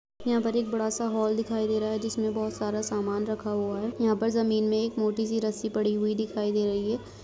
यहाँ पर एक बड़ा सा हॉल दिखाई दे रहा है जिसमें बहुत सारा समान रखा हुआ है यहाँ पर जमीन में एक मोटी सी रस्सी पड़ी हुई दिखाई दे रही है।